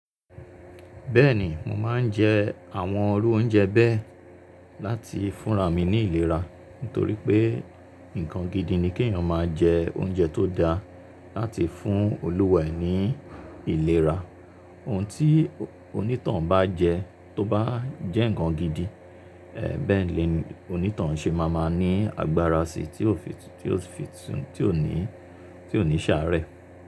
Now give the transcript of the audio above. Bẹ́ẹ̀ni, mo máa ń jẹ àwọn irú oúnjẹ bẹ́ẹ̀ láti fúnra mi ní ìlera, nítorí pé nǹkan gidi ni kí èèyàn máa jẹ oúnjẹ tó dáa láti fún olúwa ẹ̀ ní ìlera. Ohun tí onítoun bá jẹ tó bá jẹ́ nǹkan gidi, bẹ́ẹ̀ ni onítoun ṣe ma máa ní agbára si tí ó fi tí ó fi tí ò ní tí ò ní ṣààrẹ.